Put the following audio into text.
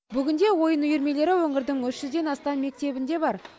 бүгінде ойын үйірмелері өңірдің үш жүзден астам мектебінде бар